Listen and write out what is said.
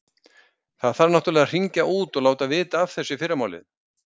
Það þarf náttúrlega að hringja út og láta vita af þessu í fyrramálið.